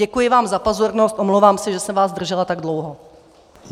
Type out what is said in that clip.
Děkuji vám za pozornost, omlouvám se, že jsem vás zdržela tak dlouho.